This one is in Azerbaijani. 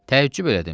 Təəccüb elədim.